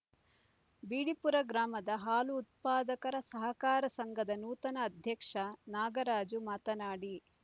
ಬಿಡಿಪುರ ಗ್ರಾಮದ ಹಾಲು ಉತ್ಪಾದಕರ ಸಹಕಾರ ಸಂಘದ ನೂತನ ಅಧ್ಯಕ್ಷ ನಾಗರಾಜು ಮಾತನಾಡಿ